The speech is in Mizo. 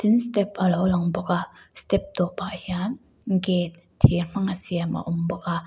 tin step alo lang bawk a step tawpah hian gate thir hmanga siam a awm bawk a.